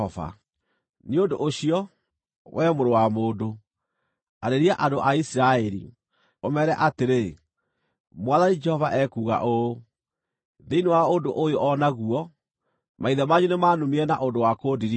“Nĩ ũndũ ũcio, wee mũrũ wa mũndũ, arĩria andũ a Isiraeli, ũmeere atĩrĩ, ‘Mwathani Jehova ekuuga ũũ: Thĩinĩ wa ũndũ ũyũ o naguo, maithe manyu nĩmanumire na ũndũ wa kũndirika: